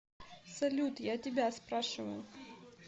салют я тебя спрашиваю